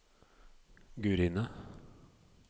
Gurine